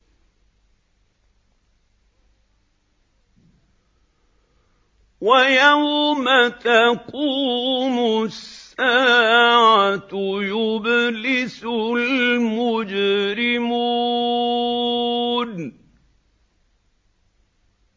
وَيَوْمَ تَقُومُ السَّاعَةُ يُبْلِسُ الْمُجْرِمُونَ